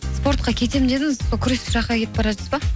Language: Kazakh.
спортқа кетем дедіңіз сол күрес жаққа кетіп бара жатсыз ба